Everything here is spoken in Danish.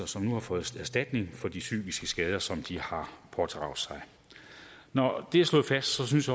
som nu har fået erstatning for de psykiske skader som de har pådraget sig når det er slået fast synes